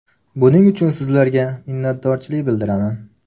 Buning uchun sizlarga minnatdorchilik bildiraman.